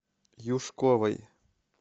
юшковой